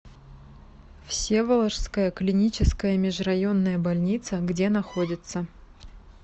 всеволожская клиническая межрайонная больница где находится